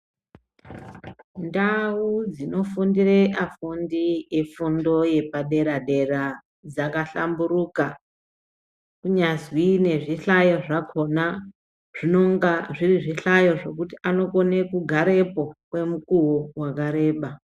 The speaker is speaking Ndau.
Ndau dzinofundira afundi epadera dera dzakahlamburuka, kunyazi nezvihlayo zvakhona zvinonga zviri zvihlayo zvekuti anokona kugarepo kwemukuwa wakareba.